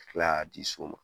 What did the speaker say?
Kila ka di so ma.